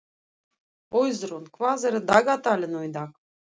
Auðrún, hvað er í dagatalinu í dag?